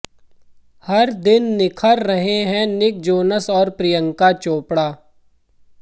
हर दिन निखर रहे हैं निक जोनस और प्रियंका चोपड़ा